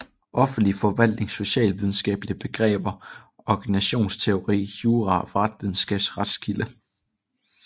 Offentlig forvaltning Socialvidenskabelige begreber Organisationsteori Jura Retsvidenskab Retskilde